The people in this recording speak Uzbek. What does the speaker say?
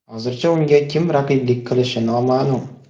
Hozircha unga kim raqiblik qilishi noma’lum.